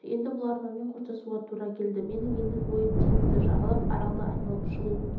енді бұл арманмен қоштасуға тура келді менің ендігі ойым теңізді жағалап аралды айналып шығу